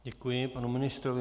Děkuji panu ministrovi.